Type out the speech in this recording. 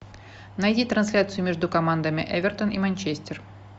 найди трансляцию между командами эвертон и манчестер